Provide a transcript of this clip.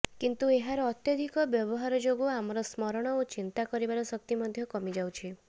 କିନ୍ତୁ ଏହାର ଅତ୍ୟଧିକ ବ୍ୟବହାର ଯୋଗୁ ଆମର ସ୍ମରଣ ଓ ଚିନ୍ତା କରିବାର ଶକ୍ତି ମଧ୍ୟ କମିଯାଉଛି